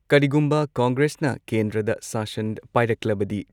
ꯀꯔꯤꯒꯨꯝꯕ ꯀꯣꯡꯒ꯭ꯔꯦꯁꯅ ꯀꯦꯟꯗ꯭ꯔꯗ ꯁꯥꯁꯟ ꯄꯥꯏꯔꯛꯂꯕꯗꯤ